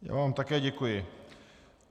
Já vám také děkuji.